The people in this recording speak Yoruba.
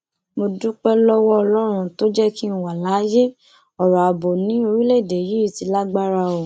mo dúpẹ lọwọ ọlọrun tó jẹ kí n wà láàyè ọrọ ààbò ni orílẹèdè yìí ti lágbára o